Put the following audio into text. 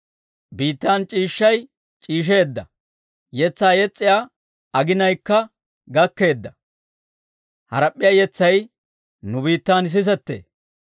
Biittan c'iishshay c'iisheedda; yetsaa yes's'iyaa aginayikka gakkeedda; harap'p'iyaa yetsay nu biittan sisettee.